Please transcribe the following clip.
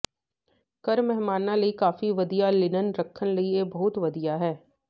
ਘਰ ਮਹਿਮਾਨਾਂ ਲਈ ਕਾਫੀ ਵਧੀਆ ਲਿਨਨ ਰੱਖਣ ਲਈ ਇਹ ਬਹੁਤ ਵਧੀਆ ਹੈ